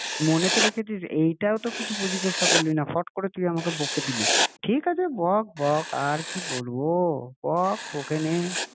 মনে তো রেখেছি এইটাও তো কিছু জিজ্ঞাসা করলি না ফট করে তুই আমাকে বকে দিলি, ঠিক আছে বক বক আর কি বলবো! হ্যাঁ বক বকে নে তাও আবার সকালে?